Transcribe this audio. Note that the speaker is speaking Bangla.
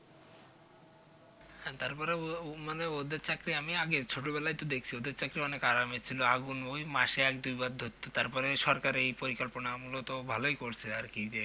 হ্যাঁ তারপরেও মানে ওদের চাকরি আমি আগে ছোটবেলায় তো দেখেছি ওদের চাকরি অনেক আরামের শুধু আগুন ওই মাসে এক দুইবার ধরতো তারপরে সরকার এই পরিকল্পনা মূলত ভালোই করছে আর কি যে